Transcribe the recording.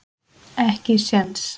Ekki séns